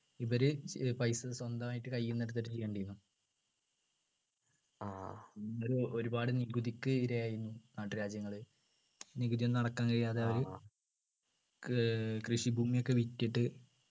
ഇവര് ഏർ പൈസ സ്വന്തമാട്ടു കയ്യിന്നെടുത്തിട്ട് ചെയ്യണ്ടിയിരുന്നു പൊ ഒരുപാട് നികുതിക്ക് ഇര ആയിരുന്നു നാട്ടുരാജ്യങ്ങള് നികുതി ഒന്നും അടക്കാൻ കഴിയാതെ അവര് ഏർ കൃഷിഭൂമി ഒക്കെ വിറ്റിട്ട്